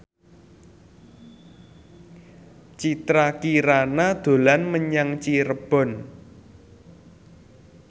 Citra Kirana dolan menyang Cirebon